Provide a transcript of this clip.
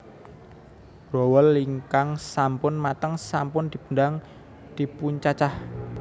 Growol ingkang sampun mateng sampun dipundang dipuncacah